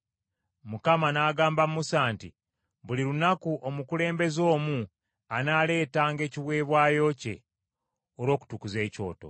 Mukama n’agamba Musa nti, “Buli lunaku omukulembeze omu anaaleetanga ekiweebwayo kye olw’okutukuza ekyoto.”